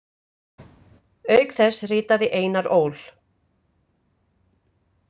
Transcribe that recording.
Auk þess ritaði Einar Ól.